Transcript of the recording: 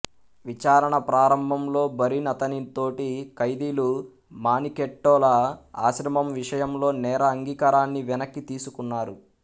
విచారణ ప్రారంభంలో బరిన్ అతని తోటి ఖైదీలు మానికెట్టోల ఆశ్రమం విషయంలో నేర అంగీకారాన్ని వెనక్కి తీసుకున్నారు